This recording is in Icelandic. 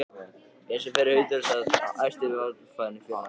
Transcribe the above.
Eins og fyrr sagði er hluthafafundur æðsti valdhafinn í félaginu.